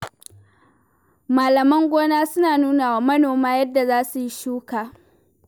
Malaman gona suna nuwa wa manoma yadda za su yi shuka.